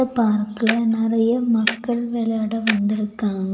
பார்க்ல நறைய மக்கள் விளையாட வந்திருக்காங்க.